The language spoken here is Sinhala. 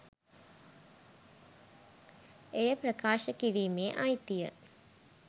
එය ප්‍රකාශ කිරීමේ අයිතිය